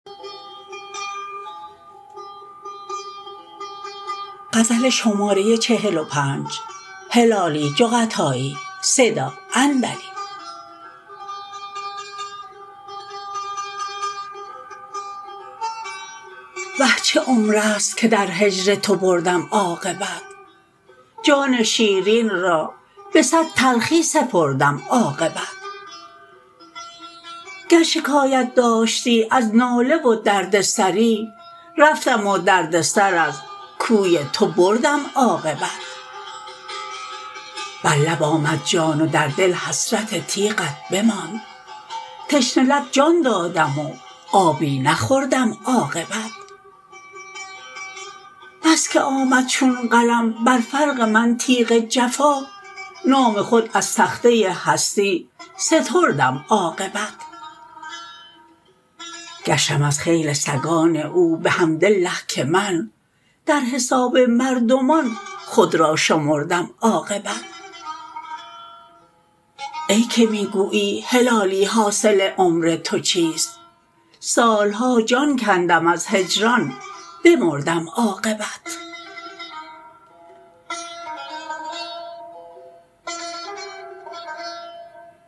وه چه عمرست این که در هجر تو بردم عاقبت جان شیرین را بصد تلخی سپردم عاقبت گر شکایت داشتی از ناله و درد سری رفتم و درد سر از کوی تو بردم عاقبت بر لب آمد جان و در دل حسرت تیغت بماند تشنه لب جان دادم و آبی نخوردم عاقبت بسکه آمد چون قلم بر فرق من تیغ جفا نام خود از تخته هستی ستردم عاقبت گشتم از خیل سگان او بحمدالله که من در حساب مردمان خود را شمردم عاقبت ای که میگویی هلالی حاصل عمر تو چیست سالها جان کندم از هجران بمردم عاقبت